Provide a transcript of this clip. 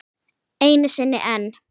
Einu sinni enn.